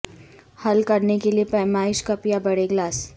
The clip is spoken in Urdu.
حل کرنے کے لئے پیمائش کپ یا بڑے گلاس